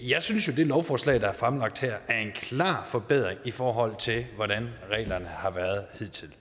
jeg synes jo det lovforslag der er fremlagt her er en klar forbedring i forhold til hvordan reglerne har været hidtil